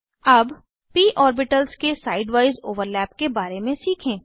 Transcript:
अब p orbitals के side wise overlap के बारे में सीखें